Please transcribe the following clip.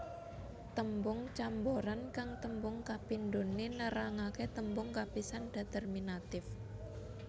Tembung camboran kang tembung kapidhoné nerangaké tembung kapisan determinatif